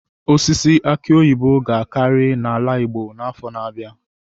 Osisi aki oyibo ga-akarị n'ala igbo n'afọ na-abịa.